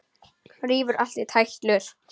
Rífur allt í tætlur.